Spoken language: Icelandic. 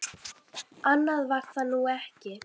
Annað var það nú ekki.